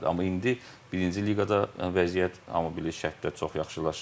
Amma indi birinci liqada vəziyyət, hamı bilir, şərtlər çox yaxşılaşıb.